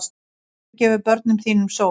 Reykjavík, gefðu börnum þínum sól!